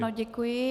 Ano, děkuji.